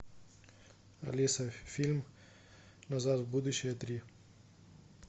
алиса фильм назад в будущее три